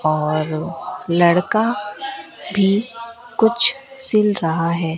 और लड़का भी कुछ सील रहा है।